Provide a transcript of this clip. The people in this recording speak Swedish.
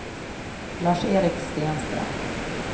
Lars-Erik Stenström